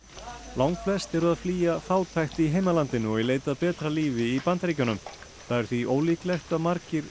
langflest eru að flýja fátækt í heimalandinu og í leit að betra lífi í Bandaríkjunum það er því ólíklegt að margir